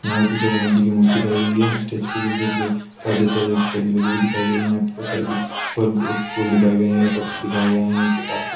यहाँ पे पीछे गणेशजी की मूर्ति दिखाई गई हैं | स्टेज पर जिसके पीछे परदे से टंगी लगी हुई दिखाई गई हैं | यहाँ बहुत सारे फल-फूल दिखाए गये हैं पत्ते दिखाए गये हैं | नीचे कारपेट --